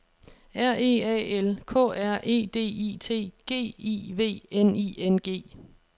R E A L K R E D I T G I V N I N G